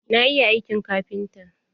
Na iya aiki kafinta.